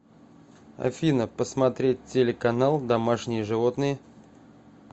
афина посмотреть телеканал домашние животные